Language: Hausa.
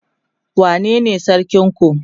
wane ne sarkin ku?